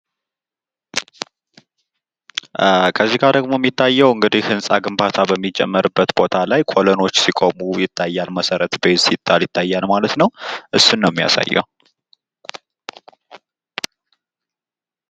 ከዚህ ጋ ደግሞ የሚታየው ህንጻ ግንባታ በሚካሄድበት ቦታ ኮለኖች ሲቆሙ ይታያል። መሰረቱ ሲጣል ይታያል ማለት ነው። እሱን ነው የሚያሳየው።